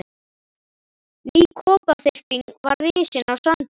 Ný kofaþyrping var risin á sandinum.